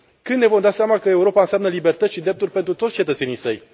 Când ne vom da seama că Europa înseamnă libertăți și drepturi pentru toți cetățenii săi?